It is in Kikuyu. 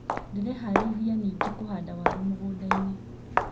Ndĩreharĩrĩria ningĩ kũhanda waru mĩgũnda-inĩ.